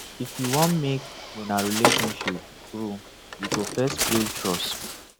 if you want make una relationship grow you go first build trust